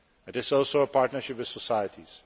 it is also a partnership with societies.